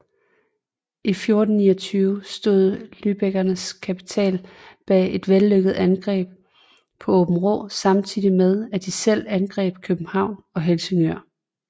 I 1429 stod lübeckernes kapital bag et vellykket angreb på Åbenrå samtidig med de selv angreb København og Helsingør